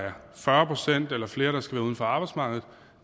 er fyrre procent eller flere der skal være uden for arbejdsmarkedet